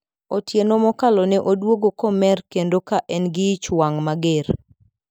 Otieno mokalo ne odwogo komer kendo ka en gi ich wang` mager.